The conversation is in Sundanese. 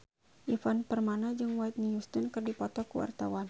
Ivan Permana jeung Whitney Houston keur dipoto ku wartawan